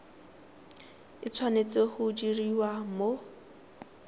e tshwanetse go diriwa mo